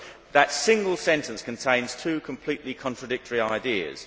That single sentence contains two completely contradictory ideas.